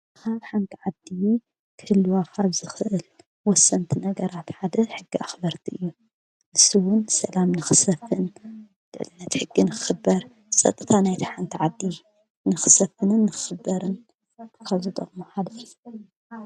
ኣብ ሓደ ዓዲ ክህልው ዝኽእል ወሰንቲ ነገራት ሓደ ሕጊ ኣኽበርቲ እዩ። ንሱውን ሰላም ንኽሰፍን ድልነት ሕጊ ንኽበር ጸጥታ ናይታ ዓዲ ንኽሰፍንን ንኽበርን ካብ ዝጠቕሙ ።